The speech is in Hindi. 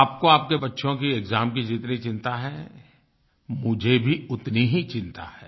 आपको आपके बच्चों के एक्साम की जितनी चिंता है मुझे भी उतनी ही चिंता है